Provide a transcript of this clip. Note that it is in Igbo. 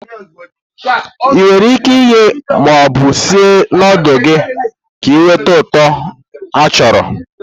Ị nwere ike ighe ma ọ bụ sie nudulu gị ka ị nweta uto achọrọ.